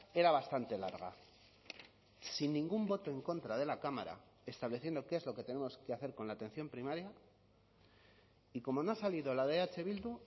era bastante larga sin ningún voto en contra de la cámara estableciendo qué es lo que tenemos que hacer con la atención primaria y como no ha salido la de eh bildu